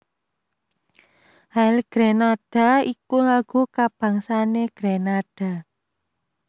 Hail Grenada iku lagu kabangsané Grenada